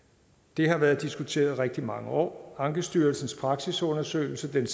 det har været diskuteret i rigtig mange år og ankestyrelsens seneste praksisundersøgelse der